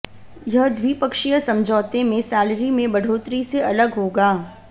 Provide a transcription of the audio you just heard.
यह द्विपक्षीय समझौते में सैलरी में बढ़ोत्तरी से अलग होगा